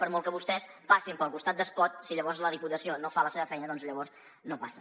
per molt que vostès passin pel costat d’espot si llavors la diputació no fa la seva feina doncs llavors no passa